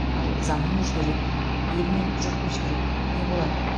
ал заман өзгереді ел мен жұрт өзгереді не болады